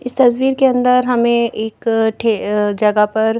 इस तस्वीर के अंदर हमें एक जगह पर --